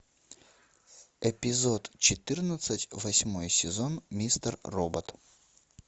эпизод четырнадцать восьмой сезон мистер робот